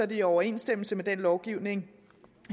det i overensstemmelse med den lovgivning